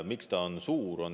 Miks ta on suur?